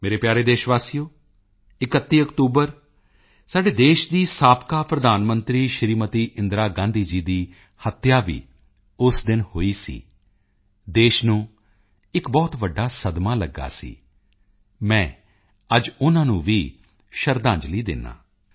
ਮੇਰੇ ਪਿਆਰੇ ਦੇਸ਼ਵਾਸੀਓ 31 ਅਕਤੂਬਰ ਸਾਡੇ ਦੇਸ਼ ਦੀ ਸਾਬਕਾ ਪ੍ਰਧਾਨ ਮੰਤਰੀ ਸ਼੍ਰੀਮਤੀ ਇੰਦਰਾ ਜੀ ਦੀ ਹੱਤਿਆ ਵੀ ਉਸ ਦਿਨ ਹੋਈ ਸੀ ਦੇਸ਼ ਨੂੰ ਇੱਕ ਬਹੁਤ ਵੱਡਾ ਸਦਮਾ ਲੱਗਾ ਸੀ ਮੈਂ ਅੱਜ ਉਨ੍ਹਾਂ ਨੂੰ ਵੀ ਸ਼ਰਧਾਂਜਲੀ ਦਿੰਦਾ ਹਾਂ